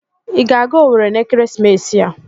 Ị ga-aga owerri n'ekeresimesi a?